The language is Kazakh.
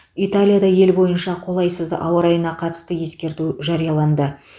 италияда ел бойынша қолайсыз ауа райына қатысты ескерту жарияланды